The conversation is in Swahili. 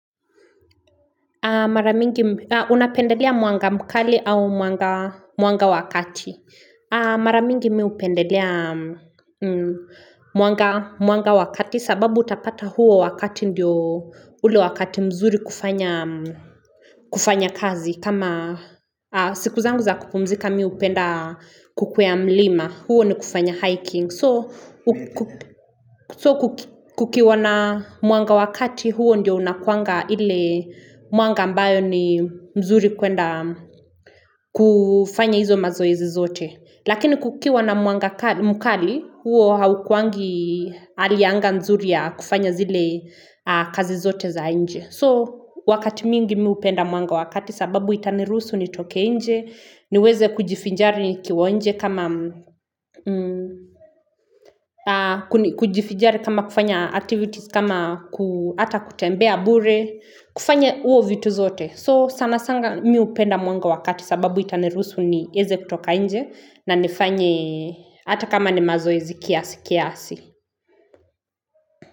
Maramingi unapendelea mwanga mkali au mwanga mwanga wakati. Maramingi miupendelea mwanga mwanga wakati sababu utapata huo wakati ndio ule wakati mzuri kufanya kufanya kazi. Kama siku zangu za kupumzika miu penda kukwea mlima huo ni kufanya hiking So kukiwa na mwanga wakati huo ndio unakuanga ile mwanga ambayo ni mzuri kuenda kufanya izo mazoezi zote Lakini kukiwa na mwanga ka mkali huo haukuangi alianga mzuri ya kufanya zile kazi zote za inje So wakati mingi miupenda mwanga wakati sababu itaniruusu nitoke inje, niweze kujifinjari kiwa nje kuni kujifijari kama kufanya activities kama ku hata kutembea bure, kufanya uo vitu zote. So sana sanga miupenda mwanga wakati sababu itanirusu ni eze kutoka inje na nifanye hata kama ni mazoe zikiasi. Kiasi.